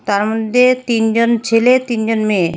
তার মধ্যে তিনজন ছেলে তিনজন মেয়ে।